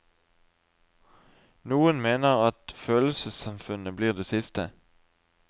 Noen mener at følelsessamfunnet blir det siste.